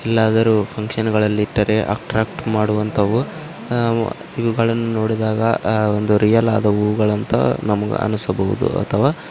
ಎಲ್ಲಾದರೂ ಫುನ್ಕ್ಷನ್ಗಳಲ್ಲಿ ಇಟ್ಟರೆ ಅಟ್ರಾಕ್ಟ್ ಮಾಡುವಂತವು ಆ ಮ್ ಇವುಗಳನ್ನು ನೋಡಿದಾಗ ಆ ಒಂದು ರಿಯಲ್ ಆದ ಊಗಳಂತ ನಮಗ ಅನ್ನಿಸಬಹುದು ಅಥವಾ --